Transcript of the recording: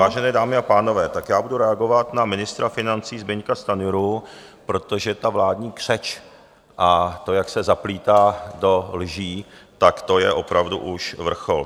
Vážené dámy a pánové, tak já budu reagovat na ministra financí Zbyňka Stanjuru, protože ta vládní křeč a to, jak se zaplétá do lží, tak to je opravdu už vrchol.